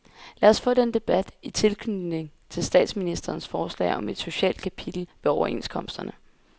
Lad os få den debat i tilknytning til statsministerens forslag om et socialt kapitel ved overenskomsterne.